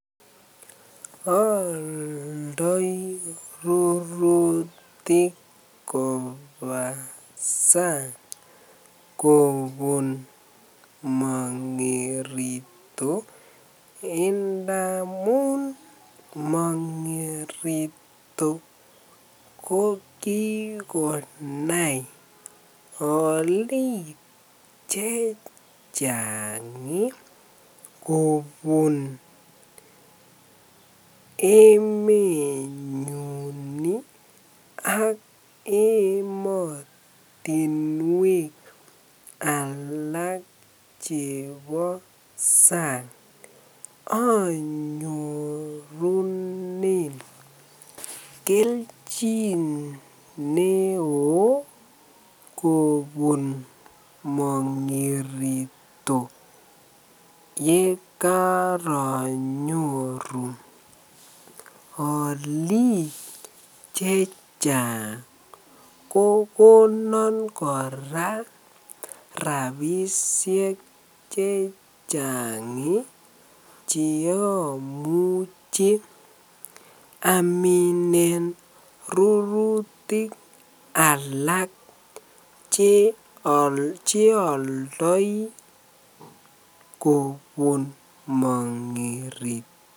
Ooldoi rurutik kobaa sang kobun mongirito ndamun mongirito ko kii konai oliik chechang kobun emenyun ak emotinwek alak chebo sang, onyorunen kelchin neoo kobun mongirito yekoronyoru oliik chechang kokonon koraa rabishek chechang cheomuche aminen rurutik alak che oldoi kobun mongirito.